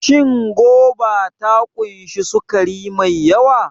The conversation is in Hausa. Shin goba ta ƙunshi sukari mai yawa?